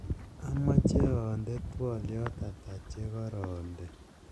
amoche oonde twolyot ata chegoronde